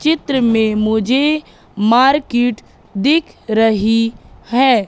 चित्र में मुझे मार्केट दिख रही है।